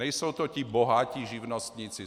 Nejsou to ti bohatí živnostníci.